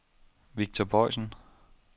Victor Boysen